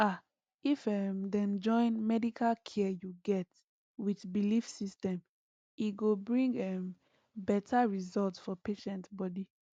ah if um dem join medical care you get with belief system e go bring um better result for patient body